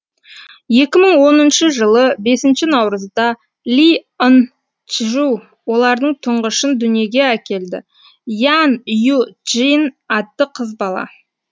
екі мың оныншы жылы бесінші наурызда ли ын чжу олардың тұңғышын дүниеге әкелді ян ю чжин атты қыз бала